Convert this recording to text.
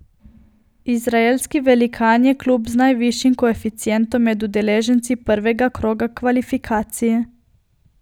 Izraelski velikan je klub z najvišjim koeficientom med udeleženci prvega kroga kvalifikacij.